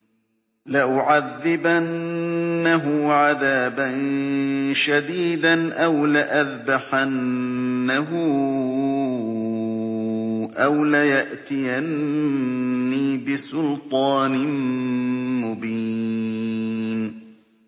لَأُعَذِّبَنَّهُ عَذَابًا شَدِيدًا أَوْ لَأَذْبَحَنَّهُ أَوْ لَيَأْتِيَنِّي بِسُلْطَانٍ مُّبِينٍ